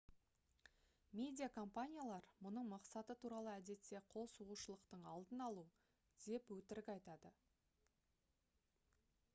медиа компаниялар мұның мақсаты туралы әдетте «қол сұғушылықтың алдын алу» деп өтірік айтады